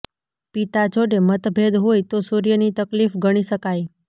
પિતા જોડે મતભેદ હોય તો સૂર્યની તકલીફ ગણી શકાય